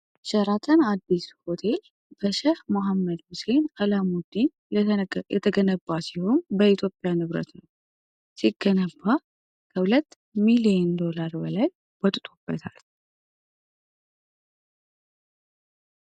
ሸራተን አዲስ ሆቴል በሼህ መሐመድ ሁሴን አላሙዲ የተገነባ ሲሆን፤ በኢትዮጵያ ንብረት ሲገነባ ከሁለት ሚሊዮን ዶላር በላይ ወጥቶበታል።